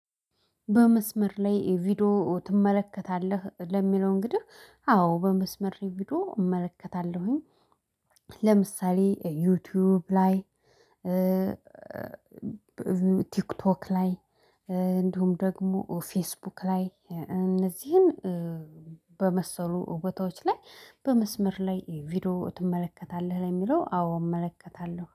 በመስመር ላይ ቪዲዮ ትመለከታለህ ለሚለው እንግዲህ አዎ በመስመር ቪዲዮ እመለከታለሁኝ። ለምሳሌ ዩቲዩብ ላይ ቲክቶክ ላይ እንዲሁም ደግሞ ፌስቡክ ላይ እነዚህን በመሰሉ ቦታውች ላይ በመስመር ላይ ቪዲዮ ትመለከታለህ ለሚለው አዎ እመለከታለሁ